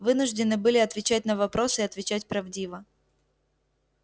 вынуждены были отвечать на вопросы и отвечать правдиво